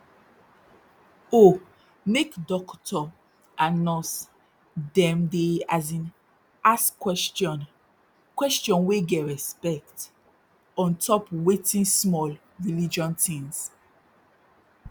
oh make dokto and nurse dem dey as in ask question question wey get respect ontop wait small religion tins